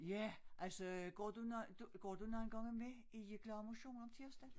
Ja altså går du går du nogen gange med i glad motion om tirsdagen?